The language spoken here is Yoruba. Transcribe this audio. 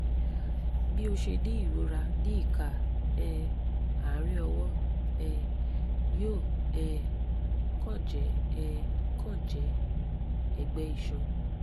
bí o ṣe ní ìrora ní ìka um àárín ọwọ́ um yóò um kàn jẹ́ um kàn jẹ́ ẹ̀gbẹ́ iṣan